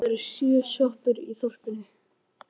Það eru sjö sjoppur í þorpinu!